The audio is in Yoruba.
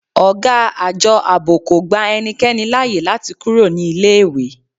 Ọ̀gá Àjọ Ààbò kò gba ẹnikẹ́ni láyè láti kúrò ní iléèwé